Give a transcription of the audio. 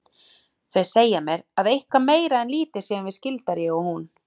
Þau segja mér að eitthvað meira en lítið séum við skyldar ég og hún.